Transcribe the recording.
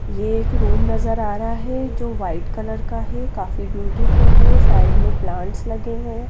ये एक रूम नजर आ रहा है जो वाइट कलर का है काफी ब्यूटीफुल है साइड में प्लांटस लगे हुए है।